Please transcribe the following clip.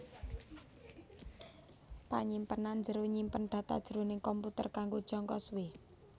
Panyimpenan njero nyimpen data jroning komputer kanggo jangka suwé